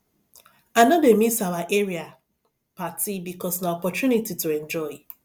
i no dey miss our area party because na opportunity to enjoy